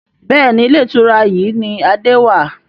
Bẹ́ẹ̀ni, Ilé ìtura yìí ni Adé wàá.